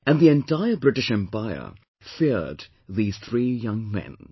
And the entire British Empire feared these three young men